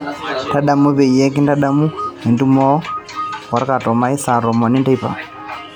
tadamu peyie kintadamu entumo orkatomai saa tomon enteipa